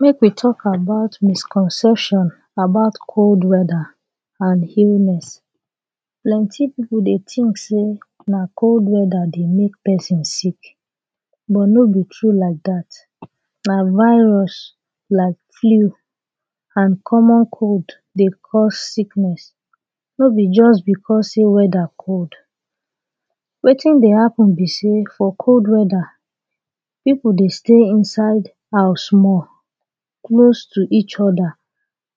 make we talk about misconception about cold weather and illness plenty people dey thing say nah cold weather dey make person sick but no be true like that nah virus like fliud and colour cold dey course sickness no be just because say weather cold wetin deh happen be say for cold weather people deh stay inside house small close to each other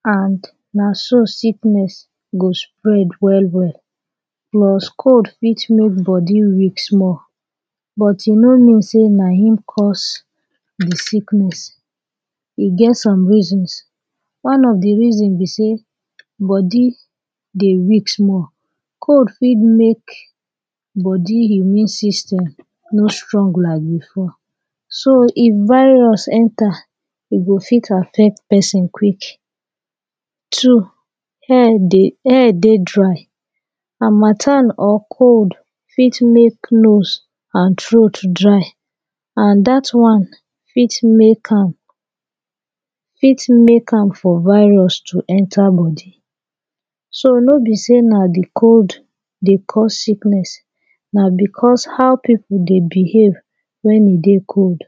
and nah so sickness go spread well well plus cold fit make body weak small but e no mean say nah him curse the sickness e get some reasons one of the reasons be say body dey weak small cold fit make body immune system no strong like before so if virus enter e go fit affect person quick two air dey air dey dry harmatan or cold fit make nose and throat dry and that one fit make am fit make am for virus to enter body so no be say nah de cold deh course sickness nah because how people deh behave when e deh cold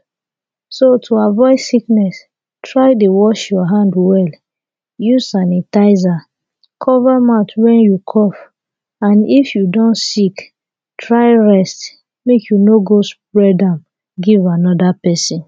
so to avoid sickness try deh wash your hand well use sanitizer cover mouth when you cough and if you don sick try rest make you no go spread am give another person